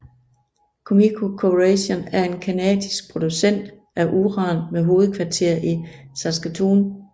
Cameco Corporation er en canadisk producent af uran med hovedkvarter i Saskatoon